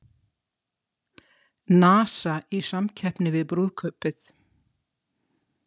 NASA í samkeppni við brúðkaupið